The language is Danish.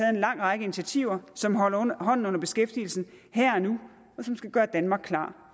en lang række initiativer som holder hånden under beskæftigelsen her og nu og som skal gøre danmark klar